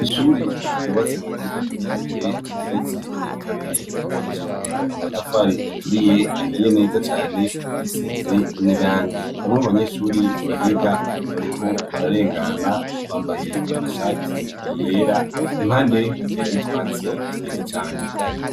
Ishure ryubatse mu buryo bwa kijambere, rigeretse kabiri, ryubakishijwe amatafari aturiye, ahiye neza cane, risize n'irangi. Bamwe mubanyeshure bahiga bariko bararengana, bambaye amashati yera, impande hateye n'utwatsi twiza cane.